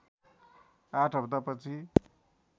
आठ हप्ता पछि